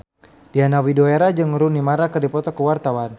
Diana Widoera jeung Rooney Mara keur dipoto ku wartawan